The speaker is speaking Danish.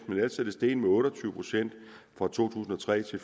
men ellers er det steget med otte og tyve procent fra to tusind og tre til